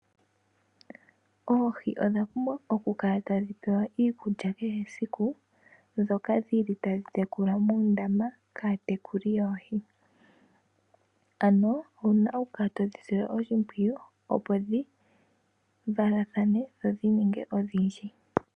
Oohi odha pumbwa oku kala tadhipewa iikulya ke he siku, ndhoka ta dhi tekulwa moondama kaatekuli yooho, ano owuna oku kala todhi sile oshimpwiyu opo dhi valatathane dho dhininge odhindji.